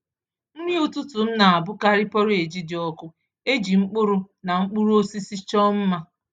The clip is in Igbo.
Nri ụtụtụ m na-abụkarị porridge dị ọkụ e ji mkpụrụ na mkpụrụ osisi chọọ mma.